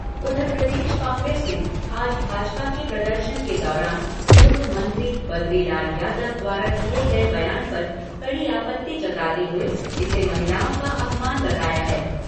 उधर प्रदेश कांग्रेस ने आज भाजपा के प्रदर्शन के दौरान पूर्व मंत्री बद्रीलाल यादव द्वारा दिए गए बयान पर कड़ी आपत्ति जताते हुए इसे महिलाओं का अपमान बताया है।